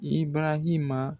I barahima